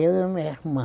Eu e minha irmã.